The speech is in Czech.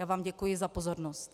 Já vám děkuji za pozornost.